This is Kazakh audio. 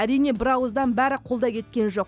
әрине бір ауыздан бәрі қолдай кеткен жоқ